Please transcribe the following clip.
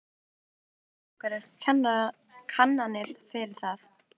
Guðjón: Eruð þið með einhverjar kannanir fyrir það?